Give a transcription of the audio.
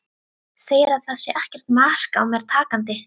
Segir að það sé ekkert mark á mér takandi.